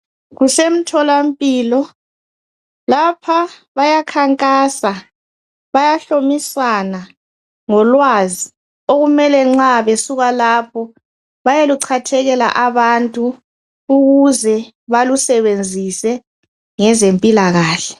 Kusemtholampilo lapha bayakhankasa, bayahlomisana ngolwazi okumele nxa besuka lapho bayeluchathekela abantu ukuze balusebenzise ngezempilakahle.